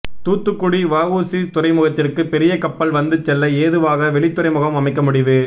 தூத்துக்குடி வஉசி துறைமுகத்திற்கு பெரிய கப்பல் வந்து செல்ல ஏதுவாக வெளித்துறைமுகம் அமைக்க முடிவு